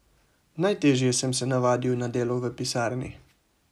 Najteže sem se navadil na delo v pisarni.